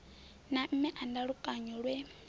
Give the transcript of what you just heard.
na mme a ndalukanyo lwe